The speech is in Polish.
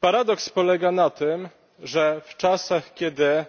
Paradoks polega na tym, że w czasach, kiedy